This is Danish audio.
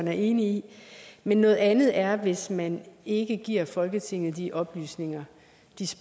er enig i noget andet er hvis man ikke giver folketinget de oplysninger